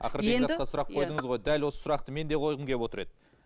ақыры бекзатқа сұрақ қойдыңыз ғой дәл осы сұрақты мен де қойғым кеп отыр еді